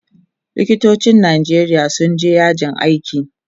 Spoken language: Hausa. likitocin Nijeria sun je yajin aiki